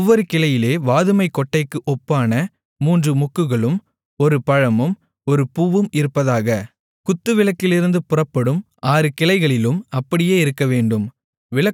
ஒவ்வொரு கிளையிலே வாதுமைக்கொட்டைக்கு ஒப்பான மூன்று மொக்குகளும் ஒரு பழமும் ஒரு பூவும் இருப்பதாக குத்துவிளக்கிலிருந்து புறப்படும் ஆறு கிளைகளிலும் அப்படியே இருக்கவேண்டும்